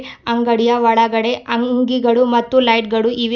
ಅಂಗಡಿಯ ಒಳಗಡೆ ಅಂಗಿಗಳು ಮತ್ತು ಲೈಟ್ ಗಳು ಇವೆ.